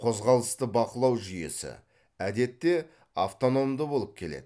қозғалысты бақылау жүйесі әдетте автономды болып келеді